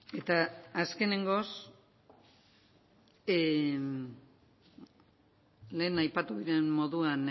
eta azkenekoz lehen aipatu den moduan